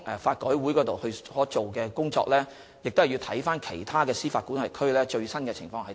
法改會進行研究時，要視乎其他司法管轄區的最新情況。